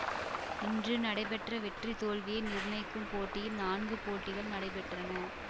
இன்று நடைபெற்ற வெற்றி தோல்வியை நிர்ணயிக்கும் போட்டியில் நான்கு போட்டிகள் நடைபெற்றன